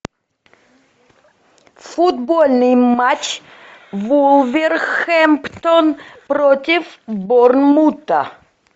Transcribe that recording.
футбольный матч вулверхэмптон против борнмута